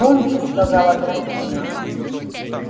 громче сказала графиня